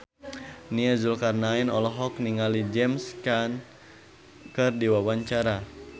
Nia Zulkarnaen olohok ningali James Caan keur diwawancara